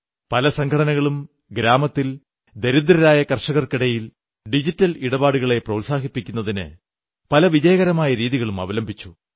പല സംഘടനകളും ഗ്രാമത്തിൽ ദരിദ്രരായ കർഷകർക്കിടയിൽ ഡിജിറ്റൽ ഇടപാടുകളെ പ്രോത്സാഹിപ്പിക്കുന്നതിന് പല വിജയകരമായ രീതികളും അവലംബിച്ചു